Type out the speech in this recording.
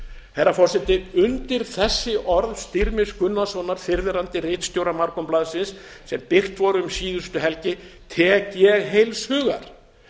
herra forseti undir þessi orð styrmis gunnarssonar fyrrverandi ritstjóra morgunblaðsins sem birt voru um síðustu helgi tek ég heils hugar